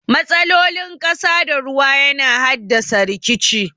Matsalolin ƙasa da ruwa yana haddasa rikici.